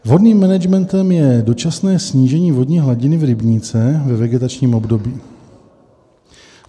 Vhodným managementem je dočasné snížení vodní hladiny v rybníce ve vegetačním období.